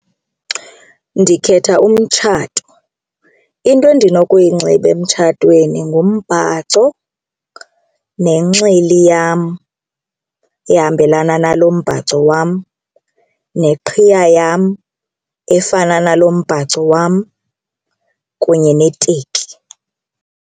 Ndikhetha umtshato. Into endinokuyinxiba emtshatweni ngumbhaco nenxili yam ehambelana nalo mbhaco wam neqhiya yam efana nalo mbhaco wam kunye neteki.